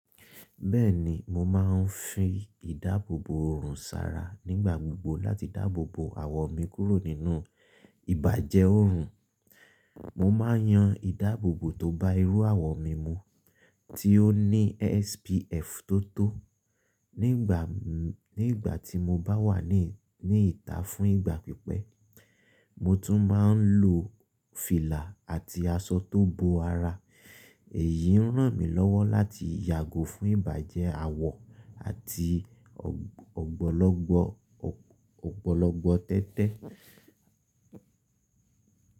Bẹ́ẹ̀ni, mo máa ń fi ìdáàbòbò òòrùn sára nígbà gbogbo láti dáàbòbò àwọ̀ mi kúrò nínú ìbàjẹ́ òòrùn. Mo máa ń yan ìdáàbòbò tó bá irú àwọ̀ mi mu tí ó ní SPF tó tó. Nígbà tí mo bá wà ní ni ìta fún ìgbà pípẹ́, mo tún máa ń lo fìlà àti aso tó bo ara. Èyí ń ràn mí lọ́wọ́ láti yàgò fún ìbàjẹ́ àwọ̀ àti ọ̀gbọ̀lọgbọ̀ ọgbọlọgbọ tẹ́tẹ́.